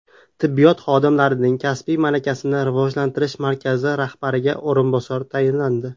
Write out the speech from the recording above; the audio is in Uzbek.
Tibbiyot xodimlarining kasbiy malakasini rivojlantirish markazi rahbariga o‘rinbosar tayinlandi.